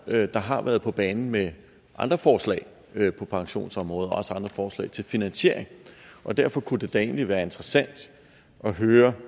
der har været på banen med andre forslag på pensionsområdet og også andre forslag til finansiering og derfor kunne det da egentlig være interessant at høre